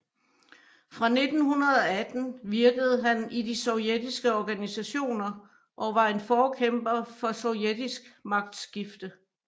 Fra 1918 virkede han i de sovjetiske organisationer og var en forkæmper for sovjetisk magtskifte